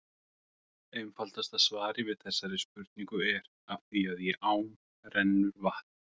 Einfaldasta svarið við þessari spurningu er: Af því að í ám rennur vatnið!